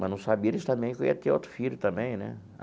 Mas não sabia eles também que eu ia ter outro filho também né.